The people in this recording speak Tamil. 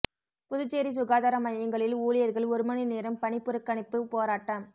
புதுச்சேரி சுகாதார மையங்களில் ஊழியா்கள் ஒரு மணி நேரம் பணிப்புறக்கணிப்புப் போராட்டம்